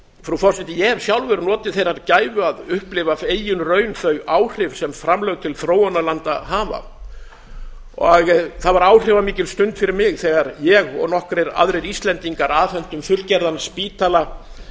frú forseti ég hef sjálfur notið þeirrar gæfu að upplifa af eigin raun þau áhrif sem framlög til þróunarlanda hafa það var áhrifamikil stund fyrir mig þegar ég og nokkrir aðrir íslendingar afhentum fullgerðan spítala